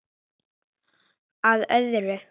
Að öðru.